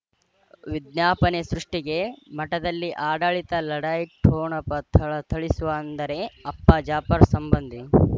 ವಿಜ್ಞಾಪನೆ ಸೃಷ್ಟಿಗೆ ಮಠದಲ್ಲಿ ಆಡಳಿತ ಲಢಾಯಿ ಠೊಣಪ ಥಳಥಳಿಸುವ ಅಂದರೆ ಅಪ್ಪ ಜಾಫರ್ ಸಂಬಂಧಿ